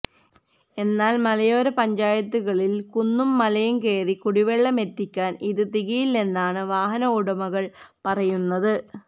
എന്നാല് മലയോര പഞ്ചായത്തുകളിലെ കുന്നും മലയും കയറി കുടിവെള്ളമെത്തിക്കാന് ഇത് തികയില്ലെന്നാണ് വാഹന ഉടമകള് പറയുന്നത്